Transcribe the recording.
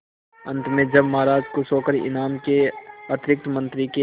अंत में जब महाराज खुश होकर इनाम के अतिरिक्त मंत्री के